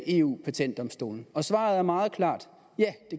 eu patentdomstolen og svaret er meget klart ja